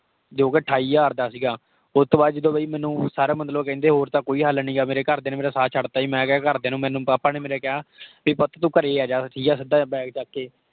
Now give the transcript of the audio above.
ਜੋ ਕੇ ਅਠਾਈ ਹਜ਼ਾਰ ਦਾ ਸੀਗਾ। ਓਹ ਤੋਂ ਬਾਅਦ ਜਦੋਂ ਬਈ ਮੈਨੂੰ ਸਾਰੇ ਮਤਲਬ ਕਹਿੰਦੇ, ਬਈ ਹੋਰ ਤਾਂ ਕੋਈ ਹੱਲ ਨਹੀਂ ਆ। ਮੇਰੇ ਘਰ ਦਿਆਂ ਨੇ ਮੇਰਾ ਸਾਥ ਛੱਡਤਾ ਸੀ। ਮੈਂ ਕਿਹਾ ਘਰ ਦਿਆਂ ਨੂੰ ਮੈਨੂੰ papa ਨੇ ਮੇਰੇ ਕਿਹਾ ਭੀ ਪੁੱਤ ਤੂੰ ਘਰੇ ਹੀ ਆਜਾ ਠੀਕ ਹੈ, ਸਿੱਦਾ bag ਚੱਕ ਕੇ।A